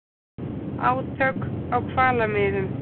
Átök á hvalamiðum